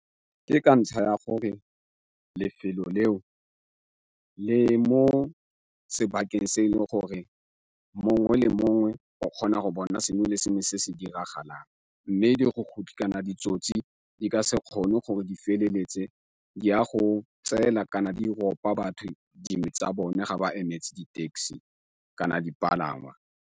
Ke ka ntlha ya gore lefelo leo le mo sebakeng se e leng gore mongwe le mongwe o kgona go bona sengwe le sengwe se se diragalang, mme dirukutlhi kana ditsotsi di ka se kgone gore di feleletse di a go tsela kana di ropa batho dingwe tsa bone ga ba emetse di-taxi kana dipalangwa.